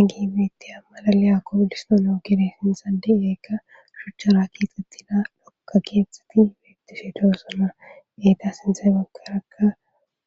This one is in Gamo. egi beettiya malaliya koolistono gere sinsadi eekka shucha raakki xitxida lokka kietxeti beettifetoosona geeta sinte gekerakka